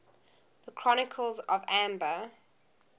the chronicles of amber